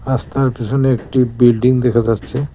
রাস্তার পিছনে একটি বিল্ডিং দেখা যাচ্ছে।